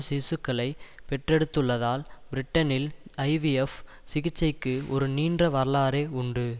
சிசுக்களைப் பெற்றெடுத்துள்ளதால் பிரிட்டனில் ஐவிஎஃப் சிகிச்சைக்கு ஒரு நீண்ட வரலாறே உண்டு